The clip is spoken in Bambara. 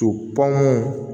To pɔn